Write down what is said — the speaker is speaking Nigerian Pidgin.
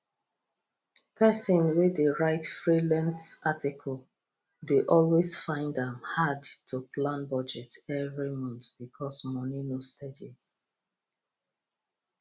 person wey dey write freelance article dey always find am hard to plan budget every month because money no steady